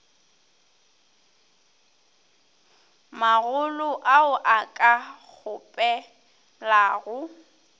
magolo ao a ka kgopelago